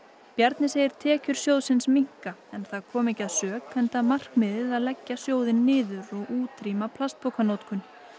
Bjarni segir tekjur sjóðsins minnka en það komi ekki að sök enda markmiðið að leggja sjóðinn niður og útrýma plastpokanotkun